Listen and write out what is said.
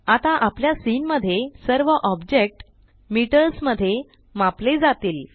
आता आपल्या सीन मध्ये सर्व ऑब्जेक्ट मीटर्स मध्ये मापले जातील